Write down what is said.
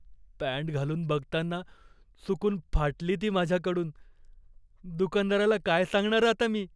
Pant घालून बघताना चुकून फाटली ती माझ्याकडून. दुकानदाराला काय सांगणार आता मी?